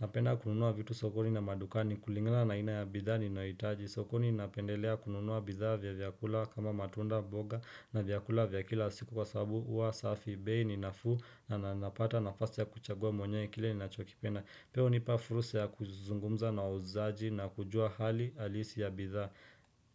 Napenda kununua vitu sokoni na madukani kulingana na aina ya bidhaa ninahitaji. Sokoni napendelea kununua bidhaa vya vyakula kama matunda mboga na vyakula vya kila siku kwa sababu huwa safi. Bei ni nafuu na napata nafasi ya kuchagua mwenye kile ninachokipenda. Pia hunipa fursa ya kuzungumza na uuzaji na kujua hali halisi ya bidhaa.